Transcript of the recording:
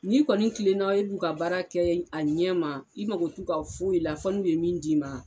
Ni kɔni Kilenna e b'u ka baara kɛ a ɲɛ ma i mako t'u ka foyi la fo n'u ye min d'i ma